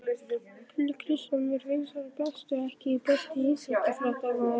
Keli Kristjáns mér finnst hann bestur EKKI besti íþróttafréttamaðurinn?